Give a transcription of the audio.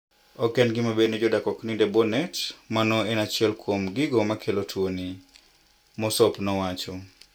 "Oken gima ber nijodak oknind ebwo net. Mano en achiel kuom gigo makelo tuoni," Mosop nowacho.